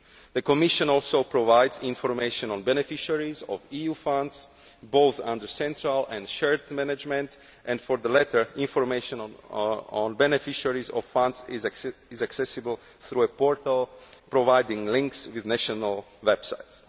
The Commission also provides information on beneficiaries of EU funds, both under central and shared management, and for the latter information on beneficiaries of funds is accessible through a portal providing links with national websites.